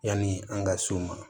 Yanni an ka so ma